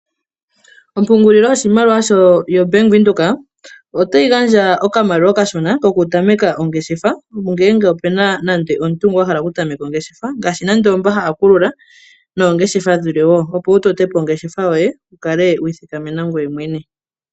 O bank windhoek ota yi gandja oshimaliwa kaantu opo ya vule oku totapo oongeshefa dhawo. Ngoye shaampa nee wa ningi okamaliwa okendji ngoye to shi galulile ombaanga opo yi vule yi kwathele aantu yalwe.